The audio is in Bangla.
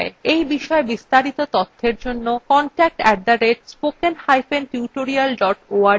এই বিষয় বিস্তারিত তথ্যের জন্য contact @spokentutorial org তে ইমেল করুন